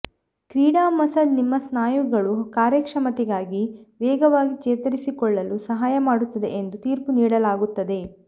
ಕ್ರೀಡಾ ಮಸಾಜ್ ನಿಮ್ಮ ಸ್ನಾಯುಗಳು ಕಾರ್ಯಕ್ಷಮತೆಗಾಗಿ ವೇಗವಾಗಿ ಚೇತರಿಸಿಕೊಳ್ಳಲು ಸಹಾಯ ಮಾಡುತ್ತದೆ ಎಂದು ತೀರ್ಪು ನೀಡಲಾಗುತ್ತದೆ